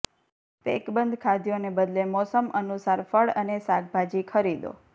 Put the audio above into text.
પેકબંધ ખાદ્યોને બદલે મોસમ અનુસાર ફળ અને શાકભાજી ખરીદો